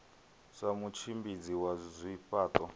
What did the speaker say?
sa mutshimbidzi wa zwifha ṱo